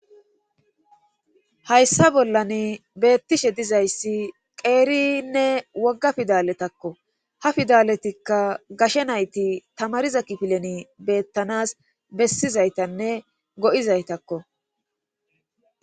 Tayssa bollan beettishe dizayssi qeerinne wogga fidaletakko ha fidaletikka gashe nayti tamariza kifileni beettanas bessizaytanne go'izaytakko.